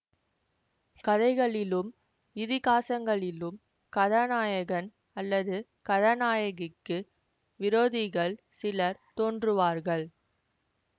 கதைகளிலும் இதிகாசங்களிலும் கதாநாயகன் அல்லது கதாநாயகிக்கு விரோதிகள் சிலர் தோன்றுவார்கள்